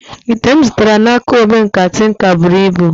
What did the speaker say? Ite m zụtara n'aka omenkà tinka buru ibu